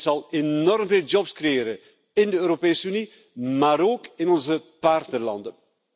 Dit zal enorm veel jobs creëren in de Europese Unie, maar ook in onze partnerlanden.